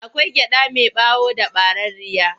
Akwai gyaɗa mai ɓawo da ɓararriya.